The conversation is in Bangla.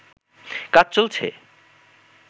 কাজ চলছে